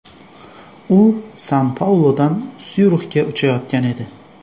U San-Pauludan Syurixga uchayotgan edi.